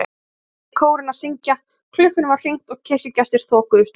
Loksins hætti kórinn að syngja, klukkunum var hringt og kirkjugestir þokuðust út.